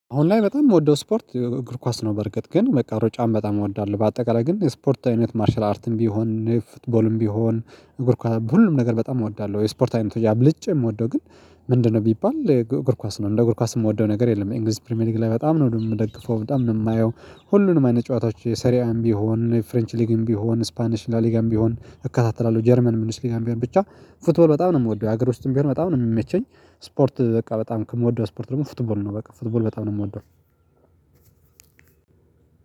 አሁን ላይ በጣም የምወደው ስፖርት እግር ኳስ ነው። በርግጥ ግን መቃሮ ጫም በጣም እወዳለሁ። በአጠቃላይ ግን ስፖርታዊነት ማርሻል አርትም ቢሆን ፉትቦልም ቢሆን እግር ኳስ ሁሉም ነገር በጣም እወዳለሁ። ወይ ስፖርታዊ አብልጭ የምወደው ግን ምንድነው ቢባል እግር ኳስ ነው። እንደ እግር ኳስ የምወደው ነገር የለም። የእንግሊዝ ፕሪሚየር ሊግ ላይ በጣም ነው የምደግፈው በጣም ነው የማየው። ሁሉንም አይነት ጨዋታዎች የሰሪያም ቢሆን የፍሬንች ሊግም ቢሆን ስፓኒሽ ላሊጋም ቢሆን እከታተላለሁ። ጀርመን ምንስ ሊጋም ቢሆን ብቻ ፉትቦል በጣም ነው የምወደው። ሀገሮች ትንቢር በጣም ነው የምመቸኝ። ስፖርት በቃ በጣም ከምወደው ስፖርት ደግሞ ፉትቦል ነው። በቃ ፉትቦል በጣም ነው የምወደው።